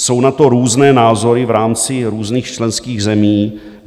Jsou na to různé názory v rámci různých členských zemí.